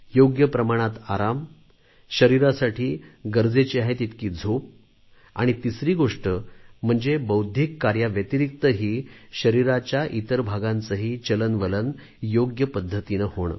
योग्य प्रमाणात आराम शरीरासाठी गरजेची आहे तितकी झोप आणि तिसरी गोष्ट म्हणजे बौद्धिक कार्याव्यतिरिक्तही शरीराच्या इतर भागांचेही चलनवलन योग्य पद्धतीने होणे